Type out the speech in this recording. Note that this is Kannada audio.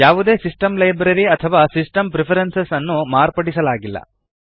ಯಾವದೇ ಸಿಸ್ಟೆಮ್ ಲೈಬ್ರರಿ ಅಥವಾ ಸಿಸ್ಟೆಮ್ ಪ್ರಿಫರೆನ್ಸಸ್ ನ್ನು ಮಾರ್ಪಡಿಸಲಾಗಿಲ್ಲ